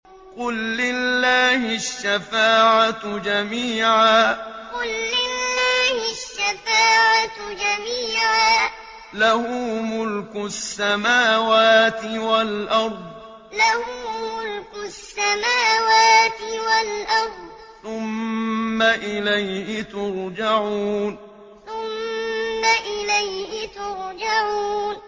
قُل لِّلَّهِ الشَّفَاعَةُ جَمِيعًا ۖ لَّهُ مُلْكُ السَّمَاوَاتِ وَالْأَرْضِ ۖ ثُمَّ إِلَيْهِ تُرْجَعُونَ قُل لِّلَّهِ الشَّفَاعَةُ جَمِيعًا ۖ لَّهُ مُلْكُ السَّمَاوَاتِ وَالْأَرْضِ ۖ ثُمَّ إِلَيْهِ تُرْجَعُونَ